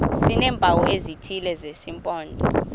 sineempawu ezithile zesimpondo